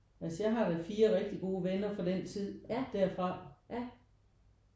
Altså jeg har da 4 rigtig gode venner fra den tid derfra